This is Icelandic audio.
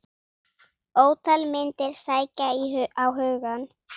Ótal myndir sækja á hugann.